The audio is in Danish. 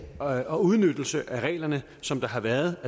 og og udnyttelse af reglerne som der har været